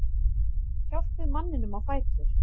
Hjálpið manninum á fætur.